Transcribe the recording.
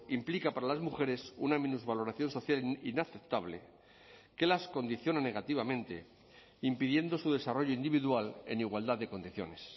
implica para las mujeres una minusvaloración social inaceptable que las condiciona negativamente impidiendo su desarrollo individual en igualdad de condiciones